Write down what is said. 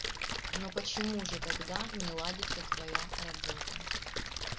но почему же тогда не ладится твоя работа